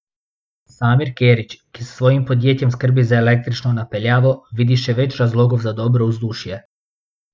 Samir Kerić, ki s svojim podjetjem skrbi za električno napeljavo, vidi še več razlogov za dobro vzdušje.